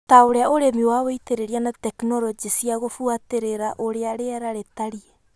ta ũrĩa ũrĩmi wa wĩitĩrĩria na tekinoronjĩ cia gũbuatĩrĩra ũrĩa rĩera rĩtarie